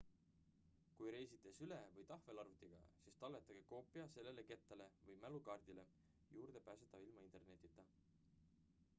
kui reisite süle- või tahvelarvutiga siis talletage koopia selle kettale või mälukaardile juurdepääsetav ilma internetita